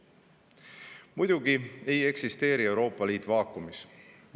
Muidugi ei eksisteeri Euroopa Liit vaakumis.